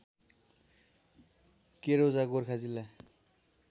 केरौजा गोर्खा जिल्ला